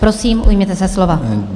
Prosím, ujměte se slova.